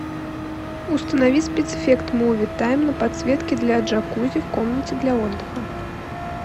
установи спецэффект муви тайм на подсветке для джакузи в комнате для отдыха